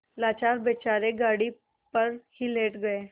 लाचार बेचारे गाड़ी पर ही लेट गये